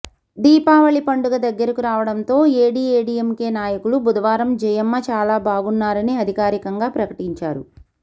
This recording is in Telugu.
దిపావళి పండుగ దగ్గరకు రావడంతో ఏడీఏడీఎంకే నాయకులు బుధవారం జయమ్మ చాలా బాగున్నారని అధికారికంగా ప్రకటించారు